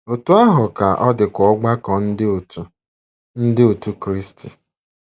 Otú ahụ ka ọ dịkwa ọgbakọ Ndị Otù Ndị Otù Kristi.